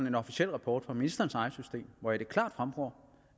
en officiel rapport fra ministerens eget system hvoraf det klart fremgår